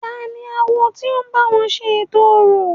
Tani awo ti o ń báwo ṣe ètò orò?